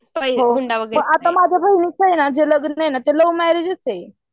आत्ता माझ्या बहिणीचं जे लग्न आहे ना ते लव्ह मॅरेजच आहे.